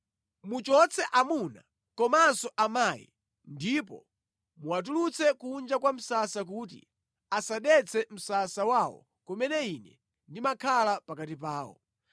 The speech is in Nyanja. Muchotse amuna komanso amayi ndipo muwatulutsire kunja kwa msasa kuti asadetse msasa wawo kumene Ine ndimakhala pakati pawo.”